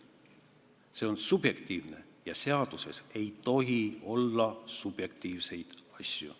See on subjektiivne ja seaduses ei tohi olla subjektiivseid asju.